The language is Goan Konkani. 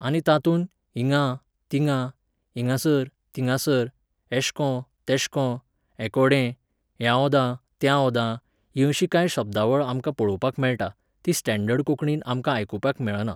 आनी तातूंत हिंगा, थिंगां, हिंगासर, थिंगासर, एशेको, तेशेको, हेकोडें, ह्या ओद्दा, त्या ओद्दा, ही अशीं कांय शब्दावळ आमकां पळोवपाक मेळटा, ती स्टँडर्ड कोंकणीन आमकां आयकुपाक मेळना